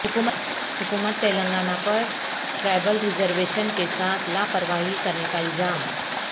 حکومت تلنگانہ پر tribal reservation کے ساتھ لاپرواہی کرنے کا الزام